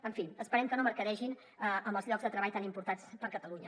en fi esperem que no mercadegin amb els llocs de treball tan importants per a catalunya